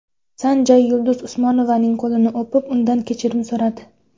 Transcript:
San Jay Yulduz Usmonovaning qo‘lini o‘pib, undan kechirim so‘radi .